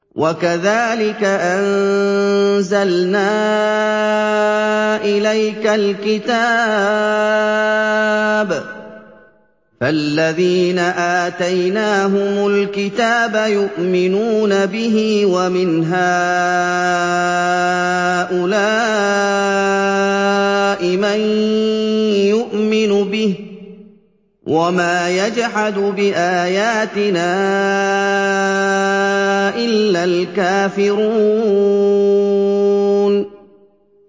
وَكَذَٰلِكَ أَنزَلْنَا إِلَيْكَ الْكِتَابَ ۚ فَالَّذِينَ آتَيْنَاهُمُ الْكِتَابَ يُؤْمِنُونَ بِهِ ۖ وَمِنْ هَٰؤُلَاءِ مَن يُؤْمِنُ بِهِ ۚ وَمَا يَجْحَدُ بِآيَاتِنَا إِلَّا الْكَافِرُونَ